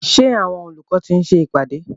Ṣé àwọn olùkọ́ ti ń ṣe ìpàdé?